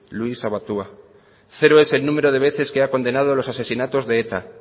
luís abaitua cero es el número de veces que ha condenado los asesinatos de eta